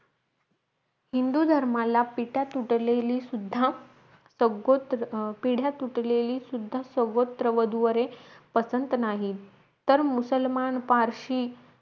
हिंदू धर्माला पिता तुटलेली सुद्धा पिढ्या तुटलेली सुद्धा सर्वत्र वधूवरे पसंत नाहीत तर मुसलमान पारशी